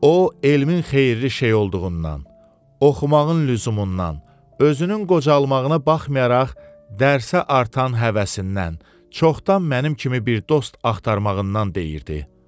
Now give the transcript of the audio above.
O elmin xeyirli şey olduğundan, oxumağın lüzumundan, özünün qocalmağına baxmayaraq dərsə artan həvəsindən, çoxdan mənim kimi bir dost axtarmağından deyirdi.